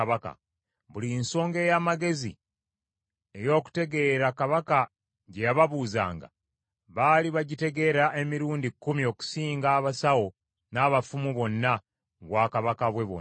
Buli nsonga ey’amagezi n’ey’okutegeera kabaka gye yababuuzanga, baali bagitegeera emirundi kkumi okusinga abasawo n’abafumu bonna, mu bwakabaka bwe bwonna.